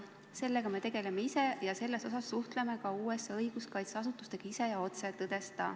"Sellega me tegeleme ise ja selles osas suhtleme ka USA õiguskaitseasutustega ise ja otse," tõdes ta.